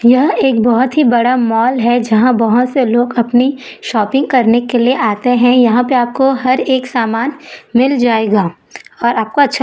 यह एक बहोत ही बड़ा मॉल है जहां बहोत से लोग अपनी शॉपिंग करने के लिए आते हैं यहां पे आपको हर एक समान मिल जाएगा और आपको अच्छा--